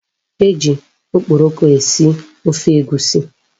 E ji okporoko esi ofe Egwusi.